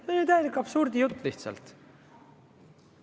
See on ju täielik absurdijutt lihtsalt.